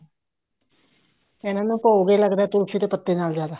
ਇਹਨਾ ਨੂੰ ਭੋਗ ਹੀ ਲੱਗਦਾ ਤੁਲਸੀ ਦੇ ਪੱਤੇ ਨਾਲ ਜਿਆਦਾ